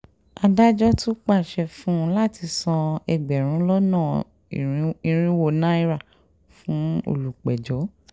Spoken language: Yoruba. adájọ́ tún pàṣẹ fún un láti san ẹgbẹ̀rún lọ́nà irínwó náírà fún olùpẹ̀jọ́